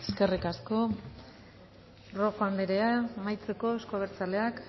eskerrik asko rojo andrea amaitzeko euzko abertzaleak